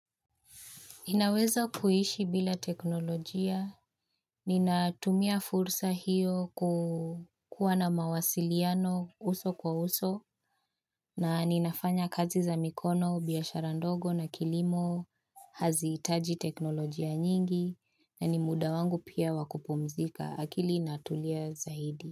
Nina weza kuishi bila teknolojia. Nina tumia fursa hiyo kuu kuwa na mawasiliano uso kwa uso na ninafanya kazi za mikono, biashara ndogo na kilimo hazihitaji teknolojia nyingi na ni muda wangu pia wakupumzika. Akili inatulia zaidi.